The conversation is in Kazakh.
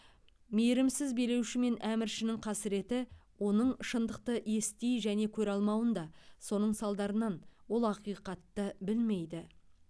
мейірімсіз билеуші мен әміршінің қасыреті оның шындықты ести және көре алмауында соның салдарыннан ол ақиқатты білмейді